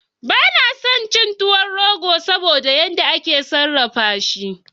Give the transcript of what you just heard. Bana son tuwon rogo saboda yan da ake sarrafa shi